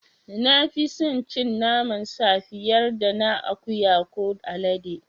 Na fi sin cin naman sa fiyar da na akuya ko alade.